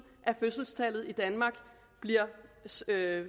at fødselstallet i danmark